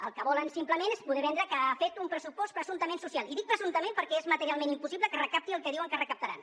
el que volen simplement és poder vendre que ha fet un pressupost presumptament social i dic presumptament perquè és materialment impossible que recapti el que diuen que recaptaran